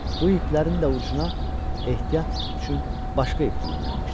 Bu iplərin də ucuna ehtiyat üçün başqa ip düyünlənmişdi.